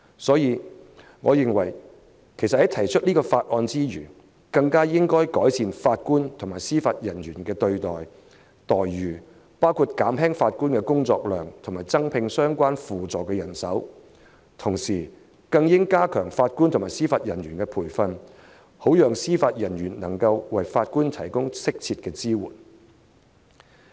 所以，我認為在通過《條例草案》之餘，更應改善法官和司法人員的待遇，減輕法官的工作量及增加相關輔助的人手，同時更應加強法官和司法人員的培訓，好讓司法人員能為法官提供適切的支援。